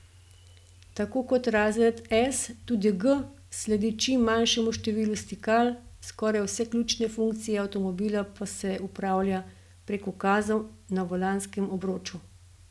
Tako kot razred S tudi G sledi čim manjšemu številu stikal, skoraj vse ključne funkcije avtomobila pa se upravlja prek ukazov na volanskem obroču.